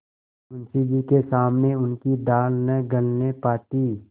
मुंशी जी के सामने उनकी दाल न गलने पाती